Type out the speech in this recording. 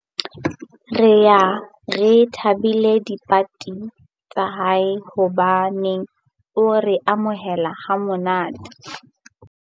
Re ye re thabele dipati tsa hae hobane o re amohela ha monate.